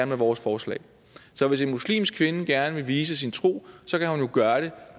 med vores forslag så hvis en muslimsk kvinde gerne vil vise sin tro så kan hun jo gøre det